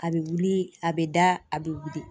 A bɛ wili ,a bɛ da, a bɛ wili .